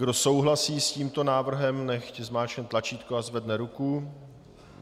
Kdo souhlasí s tímto návrhem, ať zmáčkne tlačítko a zvedne ruku.